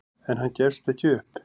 En hann gefst ekki upp.